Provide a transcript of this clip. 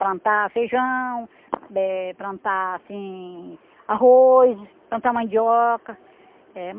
Plantar feijão, eh, plantar, assim, arroz, plantar mandioca. Eh